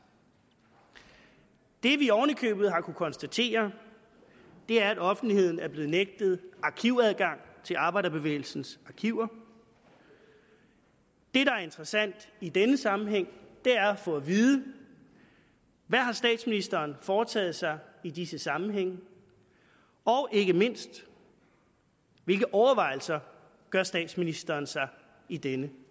det vi oven i købet har kunnet konstatere er at offentligheden er blevet nægtet arkivadgang til arbejderbevægelsens arkiver det der er interessant i denne sammenhæng er at få at vide hvad har statsministeren foretaget sig i disse sammenhænge og ikke mindst hvilke overvejelser gør statsministeren sig i denne